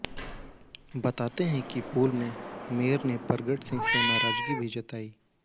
बताते हैं कि पूल में मेयर ने परगट सिंह से नाराजगी भी जताई